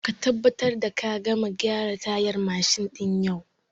Ka tabbatar da ka gama gyaran tayar mashin din yau!